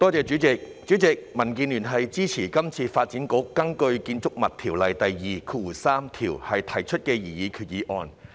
主席，民建聯支持這次發展局根據《建築物條例》第23條提出的擬議決議案。